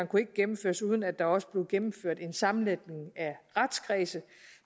kunne gennemføres uden at der også blev gennemført en sammenlægning af retskredse